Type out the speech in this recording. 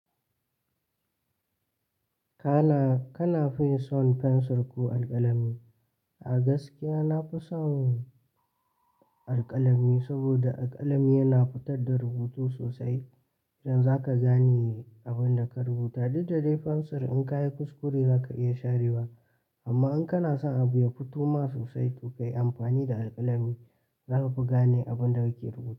Kana, kana fin son fensir ko alƙalami? A gaskiya na fi son alƙalami saboda alƙalami yana fitar da rubutu sosai. Idan zaka gane abin da ka rubuta, duk da dai fensir in ka yi kuskure zaka iya sharewa, amma in kana son abu ya fito ma sosai to kayi amfani da alƙalami. Zaka fi gane abin da kake rubuta.